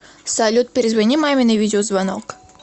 салют перезвони маме на видеозвонок